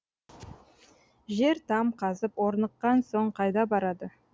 жер там қазып орныққан соң қайда барады